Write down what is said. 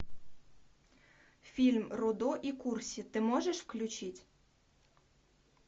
фильм рудо и курси ты можешь включить